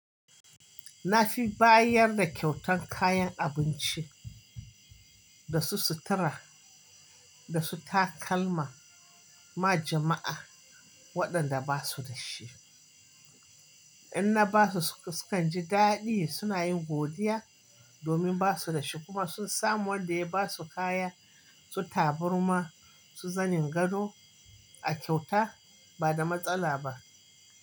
Na fi bayar da kyautan kayan abinci, da su sutura, da su takalma, ma jama’a waɗanda ba su da shi. In na ba su, su kan ji daɗi, suna yin godiya domin ba su da shi, kuma sun samu wanda ya ba su kaya, su tabarma su zanen gado a kyauta ba da matsala ba.